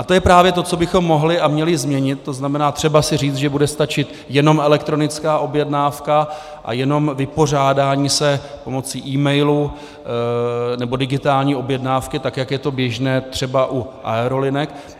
A to je právě to, co bychom mohli a měli změnit, to znamená, třeba si říct, že bude stačit jenom elektronická objednávka a jenom vypořádání se pomocí e-mailu nebo digitální objednávky, tak je to běžné třeba u aerolinek.